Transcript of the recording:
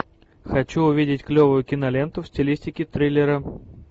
хочу увидеть клевую киноленту в стилистике триллера